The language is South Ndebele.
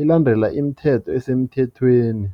elandela imithetho esemthethweni.